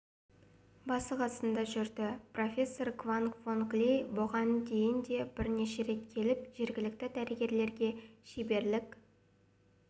басы-қасында жүрді профессор кванг вонг ли бұған дейін де бірнеше рет келіп жергілікті дәрігерлерге шеберлік